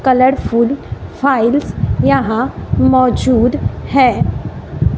Colourful files यहां मौजूद है।